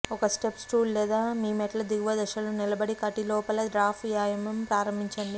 ఒక step stool లేదా మీ మెట్ల దిగువ దశలో నిలబడి కటిలోపల డ్రాప్ వ్యాయామం ప్రారంభించండి